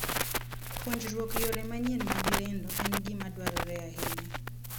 Puonjruok yore manyien mag lendo en gima dwarore ahinya.